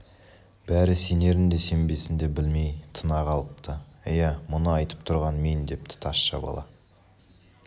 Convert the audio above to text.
бәрі сенерін де сенбесін де білмей тына қалыпты ия мұны айтып тұрған мен депті тазша бала